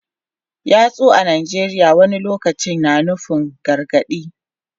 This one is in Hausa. Yatsu a Najeriya wani lokaci na iya nufin gargadi.